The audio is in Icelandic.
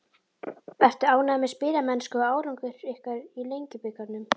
Ertu ánægður með spilamennsku og árangur ykkar í Lengjubikarnum?